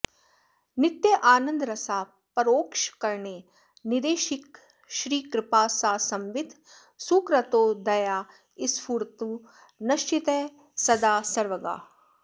नित्यानन्दरसा परोक्षकरणे श्रीदेशिकश्रीकृपा सा संवित् सुकृतोदया स्फुरतु नश्चित्ते सदा सर्वगा